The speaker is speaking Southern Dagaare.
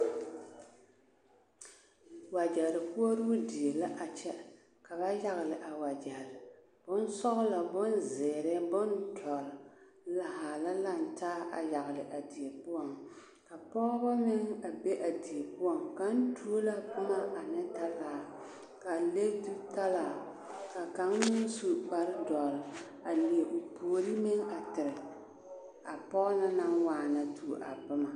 Wagyɛre koɔroo die la a kyɛ ka ba yagele a wagyɛre, bonsɔgelɔ, bonzeere, bondɔre, a haa la lantaa a yagele a die poɔŋ, ka pɔgebɔ meŋ a be a die poɔŋ, kaŋ tuo la boma ane talaa a le zutaraa ka kaŋ meŋ su kpare dɔre a leɛ o puori meŋ a tere a pɔge na naŋ waana a tuo a boma.